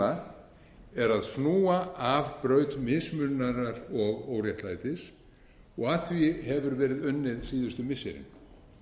er að snúa af braut mismununar og óréttlætis að því hefur verið unnið síðustu missirin